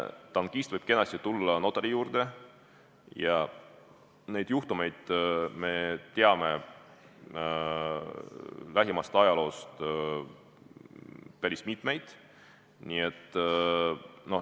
Tankist võib kenasti tulla notari juurde, neid juhtumeid me teame lähiajaloost päris mitmeid.